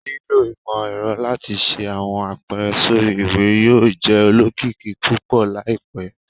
Lilo imọ-ẹrọ lati ṣe awọn apẹrẹ sori iwe yóò jẹ olokiki pupọ laipẹ